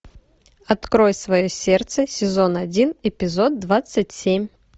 открой свое сердце сезон один эпизод двадцать семь